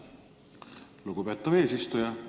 Lugupeetav eesistuja!